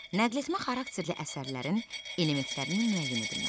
Nəqletmə xarakterli əsərlərin elementlərinin müəyyən edilməsi.